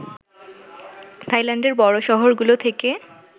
থাইল্যান্ডের বড় শহরগুলো থেকে